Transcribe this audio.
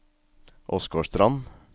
Åsgårdstrand